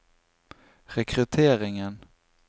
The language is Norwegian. rekrutteringen